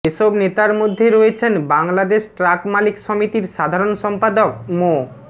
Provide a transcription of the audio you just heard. এসব নেতার মধ্যে রয়েছেন বাংলাদেশ ট্রাক মালিক সমিতির সাধারণ সম্পাদক মো